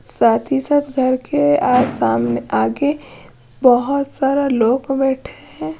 साथ ही साथ घर के सामने आके बहुत सारे लोग बैठे हैं।